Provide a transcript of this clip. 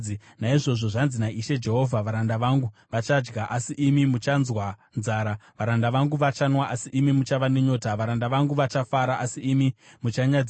Naizvozvo zvanzi naIshe Jehovha: “Varanda vangu vachadya, asi imi muchanzwa nzara; varanda vangu vachanwa, asi imi muchava nenyota; varanda vangu vachafara, asi imi muchanyadziswa.